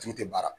Ju tɛ baara